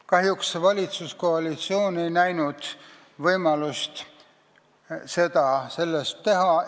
Kahjuks ei näinud valitsuskoalitsioon võimalust seda teha.